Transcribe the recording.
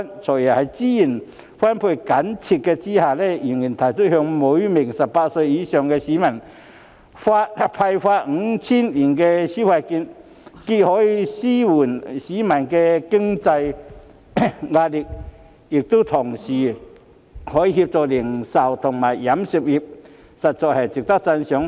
"財爺"在資源緊絀的情況下，仍然提出向每名18歲或以上市民派發 5,000 元消費券，既可紓緩市民的經濟壓力，亦可協助零售及餐飲業界，實在值得讚賞。